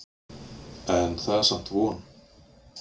En það er samt von.